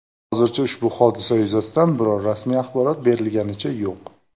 Hozircha ushbu hodisa yuzasidan biror rasmiy axborot berilganicha yo‘q.